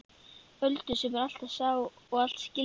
Öldu sem allt sá og allt skildi.